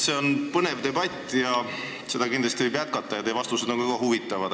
See on põnev debatt, mida võiks kindlasti jätkata, ja teie vastused on väga huvitavad.